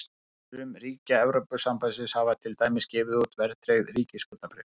Sum ríkja Evrópusambandsins hafa til dæmis gefið út verðtryggð ríkisskuldabréf.